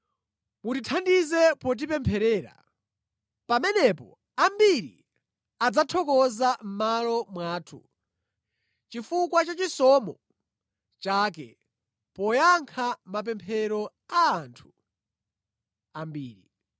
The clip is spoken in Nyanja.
Mutithandize potipempherera. Pamenepo ambiri adzathokoza mʼmalo mwathu, chifukwa cha chisomo chake poyankha mapemphero a anthu ambiri.